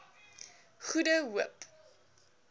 goede hoop